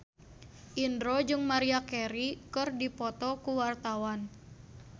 Indro jeung Maria Carey keur dipoto ku wartawan